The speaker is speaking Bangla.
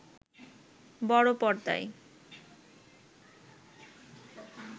বড় পর্দায়